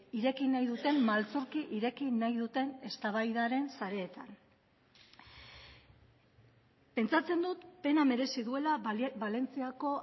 ireki nahi duten maltzurki ireki nahi duten eztabaidaren sareetan pentsatzen dut pena merezi duela valentziako